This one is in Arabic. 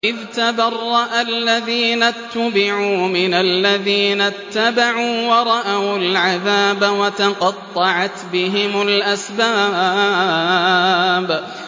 إِذْ تَبَرَّأَ الَّذِينَ اتُّبِعُوا مِنَ الَّذِينَ اتَّبَعُوا وَرَأَوُا الْعَذَابَ وَتَقَطَّعَتْ بِهِمُ الْأَسْبَابُ